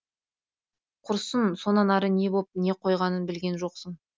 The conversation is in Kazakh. құрсын сонан ары не боп не қойғанын білген жоқсың